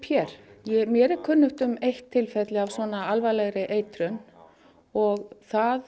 hér mér er kunnugt um eitt tilfelli af svona alvarlegri eitrun og það